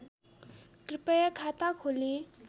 कृपया खाता खोली